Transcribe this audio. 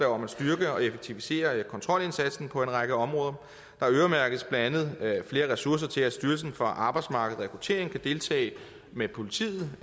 om at styrke og effektivisere kontrolindsatsen på en række områder der øremærkes blandt andet flere ressourcer til at styrelsen for arbejdsmarked og rekruttering kan deltage med politiet